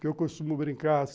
Que eu costumo brincar.